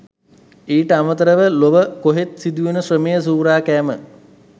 ඊට අමතරව ලොව කොහෙත් සිදුවෙන ශ්‍රමය සූරා කෑම